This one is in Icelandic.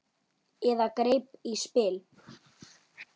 Eða greip í spil.